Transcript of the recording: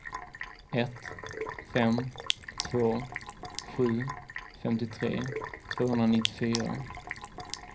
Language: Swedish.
ett fem två sju femtiotre tvåhundranittiofyra